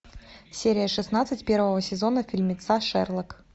серия шестнадцать первого сезона фильмеца шерлок